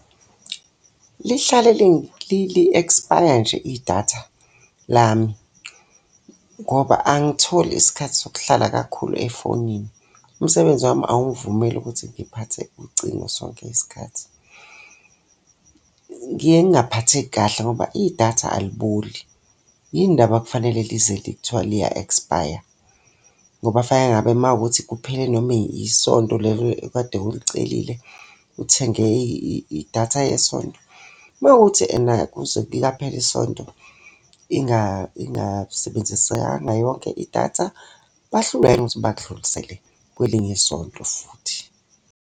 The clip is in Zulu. Lihlale li ekspaya nje idatha lami, ngoba angisitholi isikhathi sokuhlala kakhulu efonini, umsebenzi wami awungivumeli ukuthi ngiphathe ucingo sonke isikhathi. Ngiye ngingaphatheki kahle ngoba idatha aliboli. Yini ndaba kufanele lize kuthiwe liya ekspaya? Ngoba fanele ngabe uma kuwukuthi kuphele noma isonto lelo ekade ulicelile, uthenge idatha yesonto. Uma kuwukuthi ena kuze liyaphela isonto ingasebenzisekanga yonke idatha, bahlulwa yini ukuthi bakudlulisele kwelinye isonto futhi.